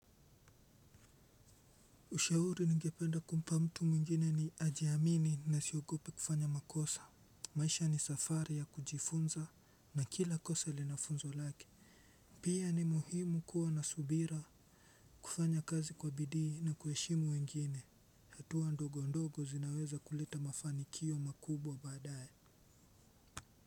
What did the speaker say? Ushauri ningependa kumpa mtu mwingine ni, ajiamini na asiogope kufanya makosa. Maisha ni safari ya kujifunza, na kila kosa ilinafunzo lake. Pia, ni muhimu kua na subira. Kufanya kazi kwa bidii na kuheshimu wengine. Hatua ndogo ndogo zinaweza kuleta mafanikio makubwa badaye.